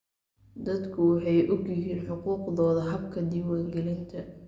Dadku waxay ogyihiin xuquuqdooda habka diiwaangelinta.